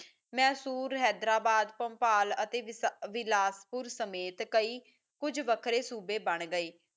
ਮੇਸ਼ੁਰੂ ਹੈਦਰਾਬਾਦ ਪੁਮਪਾਲ ਅਤੇ ਬਿਲਾਸਪੁਰ ਸਮੇਤ ਕਈ ਕੁੱਜ ਵੱਖਰੇ ਸੂਬੇ ਬਣ ਗਏ